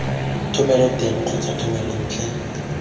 thomelo teng gongwe thomelo ntle